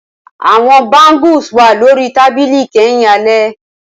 Awọn bangles wà lori tabili kẹhin alẹ